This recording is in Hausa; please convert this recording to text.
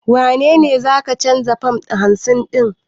Wane ne za ka canza fam hamsin ɗin?